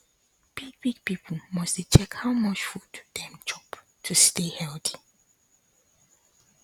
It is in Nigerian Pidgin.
big big people must dey check how much food dem dey chop to stay healthy